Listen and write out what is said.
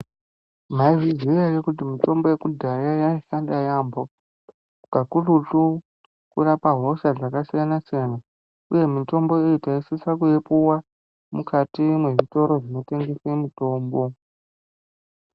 Maizviziva here kuti mitombo yekudhaya yaishanda yambo kakurutu kurapa hosha dzakasiyana siyana uye mitombo iyi taisisa kuipuwa mukati mezvitoro zvotengesa mitombo.